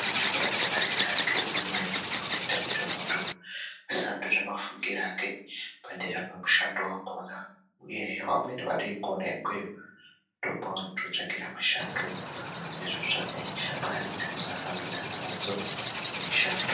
Chikora chepadera ndokumweni kunoita kuti muntu asandure mafungiro ake padera pamushando vakona, uyehe vamweni vatoikone ikweyo ndokwavanototsvakira mishando izvo tsvakai shamwari dzekuzohambidzana nadzo mishando.